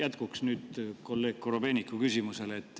See on jätkuks kolleeg Korobeiniku küsimusele.